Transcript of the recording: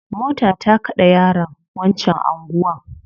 Mota ta kade yaron wancan anguwan